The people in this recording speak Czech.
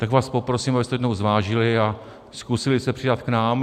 Tak vás poprosím, abyste jednou zvážili a zkusili se přidat k nám.